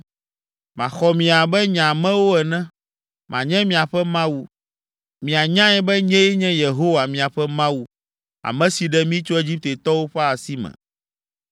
Maxɔ mi abe nye amewo ene, manye miaƒe Mawu, mianyae be nyee nye Yehowa, miaƒe Mawu, ame si ɖe mi tso Egiptetɔwo ƒe asi me,